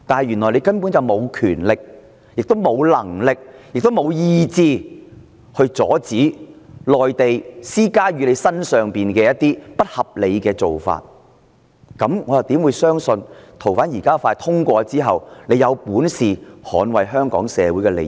原來她根本沒有權力，亦沒有能力及意志阻止內地施加在她身上的不合理做法，這樣我怎會相信修訂建議獲通過後，她有本事捍衞香港社會的利益？